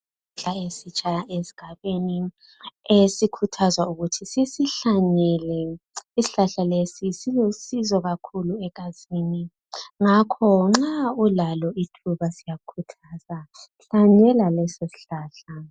Isihlahla esitsha esigabeni esikhuthazwa ukuthi sisihlanyele isihlahla lesi silusizo kakhulu egazini ngakho nxa ulalo ithuba siyakhuza, hlanyela leso sihlahla.